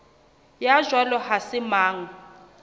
ya jwalo ha se mang